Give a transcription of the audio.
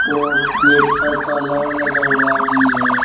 और गेट पर ताला लगा हुआ भी है।